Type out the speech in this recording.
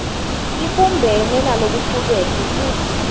ibumbene nalokucuketfwe futsi